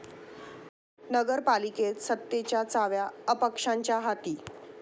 नगर पालिकेत सत्तेच्या चाव्या अपक्षांच्या हाती